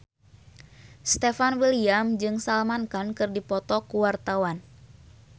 Stefan William jeung Salman Khan keur dipoto ku wartawan